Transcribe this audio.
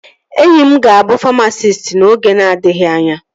Enyi m ga-abụ famasisti n'oge na-adịghị anya